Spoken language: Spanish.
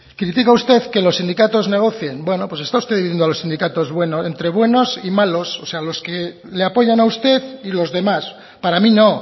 critica usted que los sindicatos negocien bueno pues está usted dividiendo a los sindicatos entre buenos y malos o sea los que le apoyan a usted y los demás para mí no